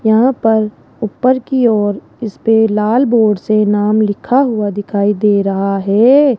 यहां पर ऊपर की ओर इसपे लाल बोर्ड से नाम लिखा हुआ दिखाई दे रहा है।